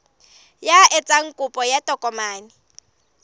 ya etsang kopo ya tokomane